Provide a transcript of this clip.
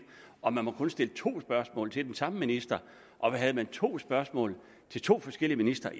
og man må kun stille to spørgsmål til den samme minister og to spørgsmål til to forskellige ministre